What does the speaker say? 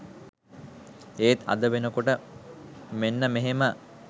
ඒත් අද වෙනකොට මෙන්න මෙහෙම